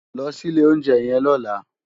Lò si ilé óunjè yèn lòlá